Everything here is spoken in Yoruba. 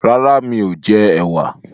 Rárá mi ò jẹ ẹ̀wà